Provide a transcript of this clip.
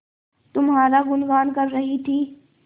तुम्हारा गुनगान कर रही थी